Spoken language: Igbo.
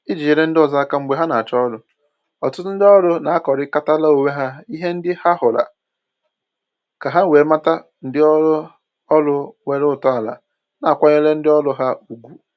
Iji nyere ndị ọzọ aka mgbe ha na-achọ ọrụ, ọtụtụ ndị ọrụ na-akọkarịtara onwe ha ihe ndị ha hụrụla, ka ha wee mata ndị ụlọ ọrụ nwere ntọala na-akwanyere ndị ọrụ ha ugwu